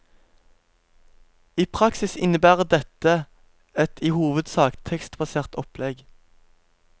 I praksis innebærer dette et i hovedsak tekstbasert opplegg.